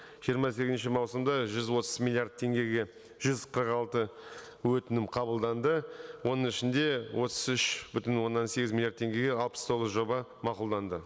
жиырма сегізінші маусымда жүз отыз миллиард теңгеге жүз қырық алты өтінім қабылданды оның ішінде отыз үш бүтін оннан сегіз миллиард теңгеге алпыс тоғыз жоба мақұлданды